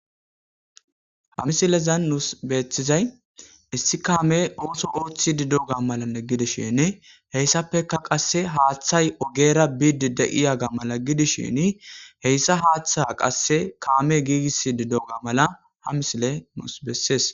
Ha misilezan nus betizays issi kamey oso othidi de'ega mala gidishin hesapeka qasi hathay ogera bidi de'ega mala gidishin kamey gigisdi de'oga hayis nus qonicises